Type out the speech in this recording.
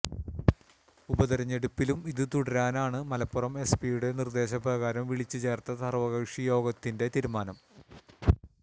ഉപതെരഞ്ഞെടുപ്പിലും ഇതു തുടരാനാണ് മലപ്പുറം എസ്പി യുടെ നിർദ്ദേശപ്രകാരം വിളിച്ച് ചേർത്ത് സർവ്വകക്ഷി യോഗത്തിൽ തീരുമാനം